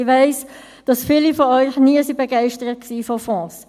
Ich weiss, dass viele von euch nie von Fonds begeistert waren.